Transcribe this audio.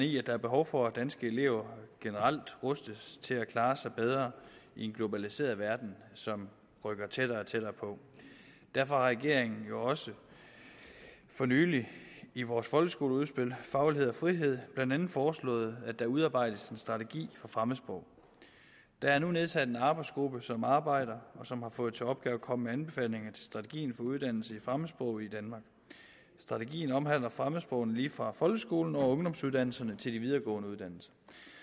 i at der er behov for at danske elever generelt rustes til at klare sig bedre i en globaliseret verden som rykker tættere og tættere på derfor har regeringen jo også for nylig i vores folkeskoleudspil faglighed og frihed blandt andet foreslået at der udarbejdes en strategi for fremmedsprog der er nu nedsat en arbejdsgruppe som arbejder og som har fået til opgave at komme med anbefalinger til strategien for uddannelse i fremmedsprog i danmark strategien omhandler fremmedsprogene lige fra folkeskolen og ungdomsuddannelserne til de videregående uddannelser